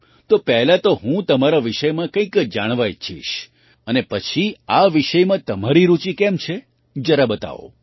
તો પહેલા તો હું તમારા વિષયમાં કંઈક જાણવા ઈચ્છીશ અને પછી આ વિષયમાં તમારી રૂચિ કેમ છે જરા બતાવો